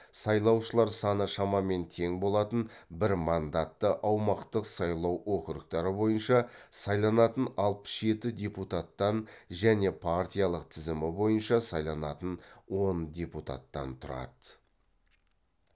сайлаушылар саны шамамен тең болатын бір мандатты аумақтық сайлау округтары бойынша сайланатын алпыс жеті депутаттан және партиялық тізім бойынша сайланатын он депутаттан тұрады